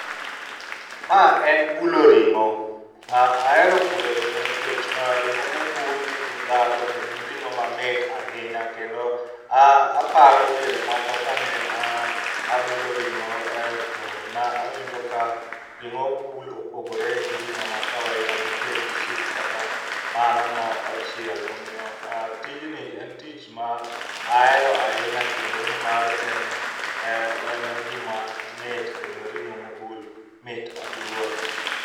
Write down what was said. Ma en bulo ring'o. Ahero bulo ring'o nikech ring'o mobul nigi ndhandhu kendo en ring'o mamit ahinya ,kendo aparo diere moko kane abulo ring'o to ne awinjo ka ring'o mobul opogore gi ring'o ma kawadida moted gi sup kata mano mochiel. Omiyo tijni en tich ma ahero ahinya kendo nimar en, en gima mit kendo ring'o mobul mit aduwa